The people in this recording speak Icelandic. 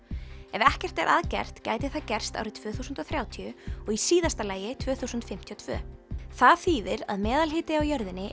ef ekkert er að gert gæti það gerst árið tvö þúsund og þrjátíu og í síðasta lagi tvö þúsund fimmtíu og tvö það þýðir að meðalhiti á jörðinni